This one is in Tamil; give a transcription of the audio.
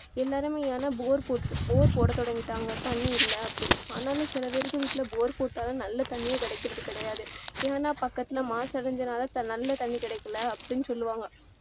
எல்லாருமே ஏன்னா bore bore போட தொடங்கிட்டாங்க தண்ணீர் இல்ல அப்படின்னு ஆனாலும் சிலர் பேர் வீட்டுல bore போட்டாலும் நல்ல தண்ணிரே கிடைக்கிறது கிடையாது ஏன்னா பக்கதுல மாசடைஞ்சதால நல்ல தண்ணீர் கிடைக்கல அப்படின்னு சொல்லுவாங்க